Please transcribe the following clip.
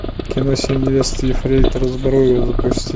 кино семь невест ефрейтора збруева запусти